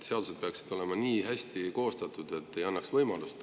Seadused peaksid olema nii hästi koostatud, et ei annaks niisugust võimalust.